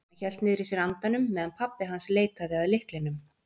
Hann hélt niðri í sér andanum meðan pabbi hans leitaði að lyklinum.